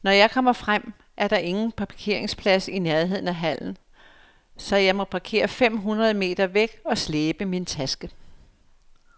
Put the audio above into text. Når jeg kommer frem, er der ingen parkeringsplads i nærheden af hallen, så jeg må parkere fem hundrede meter væk og slæbe min taske.